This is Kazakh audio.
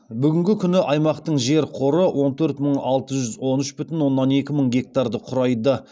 бүгінгі күні аймақтың жер қоры он төрт мың алты жүз он үш бүтін оннан екі мың гектарды құрайды